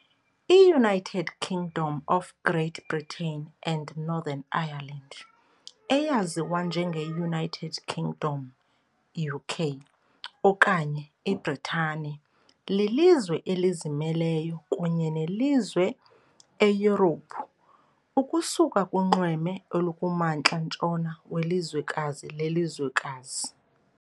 IUnited Kingdom of Great Britain and Northern Ireland, eyaziwa njengeUnited Kingdom, UK, okanye iBritane, lilizwe elizimeleyo kunye nelizwe eYurophu, ukusuka kunxweme olukumantla-ntshona welizwekazi lelizwekazi.